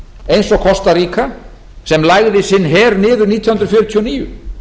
eins og kosta ríga sem lagði sinn her niður nítján hundruð fjörutíu og níu